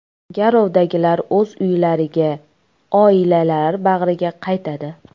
Garovdagilar o‘z uylariga, oilalari bag‘riga qaytadi.